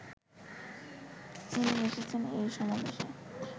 তিনি এসেছেন এই সমাবেশে